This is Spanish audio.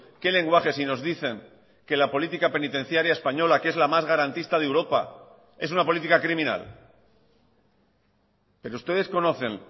qué lenguaje si nos dicen que la política penitenciaria española que es la más garantista de europa es una política criminal pero ustedes conocen